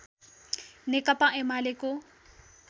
नेकपा एमालेको